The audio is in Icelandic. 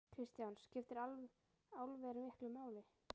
Kristján: Skiptir álver miklu máli?